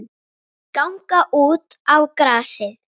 Ganga út á grasið.